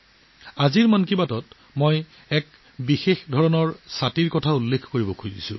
'মন কী বাত'ত আজি মই আপোনালোকক এটা বিশেষ ধৰণৰ ছাতিৰ বিষয়ে ক'ব বিচাৰিছো